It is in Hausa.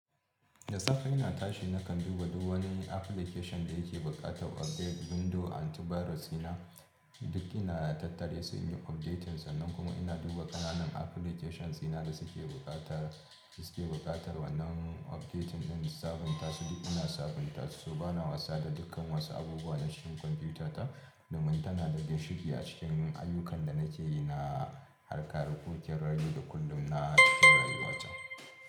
Da safe ina tashi nakan duba duk wani application da yake buƙatar update. Windows antivirus ina duk ina na tattare su in yi updating sa. Nan kuma ina duba ƙananan applications ina da suke buƙatar, suke buƙatar wannan updating ɗin sabunta su duk ina sabunta su. Bana wasa da dukkan wasu abubuwa na cikin kwamfiyuta ta domin tana da ginshiki a cikin ayyukan da nake yi na na harka da kukin rayu da kullum na rayuwata.